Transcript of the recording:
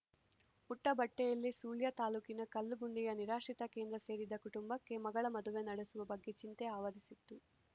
ಉಟ್ಟಬಟ್ಟೆಯಲ್ಲೇ ಸುಳ್ಯ ತಾಲೂಕಿನ ಕಲ್ಲುಗುಂಡಿಯ ನಿರಾಶ್ರಿತ ಕೇಂದ್ರ ಸೇರಿದ್ದ ಕುಟುಂಬಕ್ಕೆ ಮಗಳ ಮದುವೆ ನಡೆಸುವ ಬಗ್ಗೆ ಚಿಂತೆ ಆವರಿಸಿತ್ತು